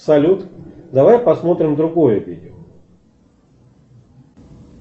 салют давай посмотрим другое видео